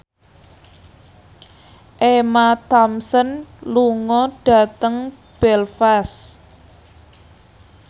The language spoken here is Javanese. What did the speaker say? Emma Thompson lunga dhateng Belfast